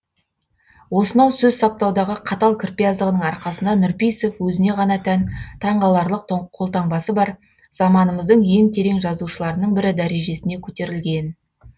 осынау сөз саптаудағы қатал кірпияздығының арқасында нұрпейісов өзіне ғана тән таңғаларлық қолтаңбасы бар заманымыздың ең терең жазушыларының бірі дәрежесіне көтерілген